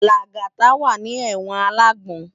Lagata wá ni èwòn àlágbòn